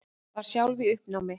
Var sjálf í uppnámi.